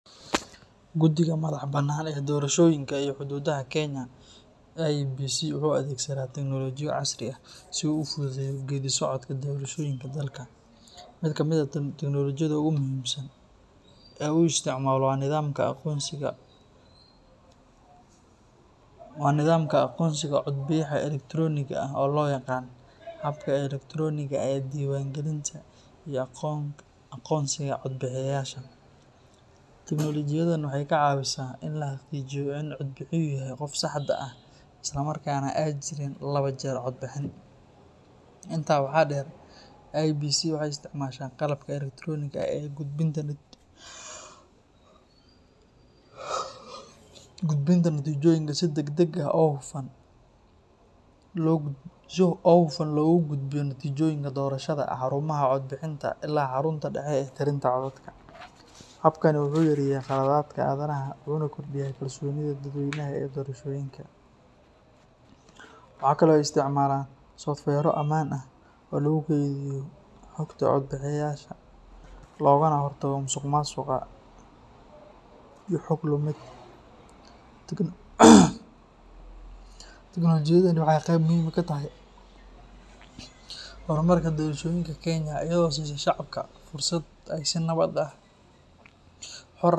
Guddiga Madaxa Bannaan ee Doorashooyinka iyo Xuduudaha Kenya IEBC wuxuu adeegsadaa teknolojiyado casri ah si uu u fududeeyo geeddi-socodka doorashooyinka dalka. Mid ka mid ah teknoolojiyada ugu muhiimsan ee uu isticmaalo waa nidaamka aqoonsiga codbixiyaha elektarooniga ah oo loo yaqaan habka elektarooniga ee diiwaangelinta iyo aqoonsiga codbixiyeyaasha. Teknoolojiyadan waxay ka caawisaa in la xaqiijiyo in codbixiyuhu yahay qofka saxda ah isla markaana aanay jirin laba jeer codbixin. Intaa waxaa dheer, IEBC waxay isticmaashaa qalabka elektarooniga ah ee gudbinta natiijooyinka si degdeg ah oo hufan loogu gudbiyo natiijooyinka doorashada xarumaha codbixinta ilaa xarunta dhexe ee tirinta codadka. Habkani wuxuu yareeyaa khaladaadka aadanaha wuxuuna kordhiyaa kalsoonida dadweynaha ee doorashooyinka. Waxa kale oo ay isticmaalaan softiweerro ammaan ah oo lagu kaydiyo xogta codbixiyeyaasha, loogana hortago musuqmaasuqa iyo xog lumid. Teknoolojiyadani waxay qayb muhiim ah ka tahay horumarka doorashooyinka Kenya iyadoo siisa shacabka fursad ay si nabad ah, xor ah.